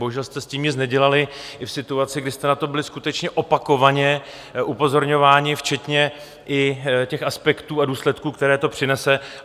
Bohužel jste s tím nic nedělali i v situaci, kdy jste na to byli skutečně opakovaně upozorňováni, včetně i těch aspektů a důsledků, které to přinese.